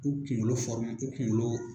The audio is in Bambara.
U kuŋolo u kuŋolo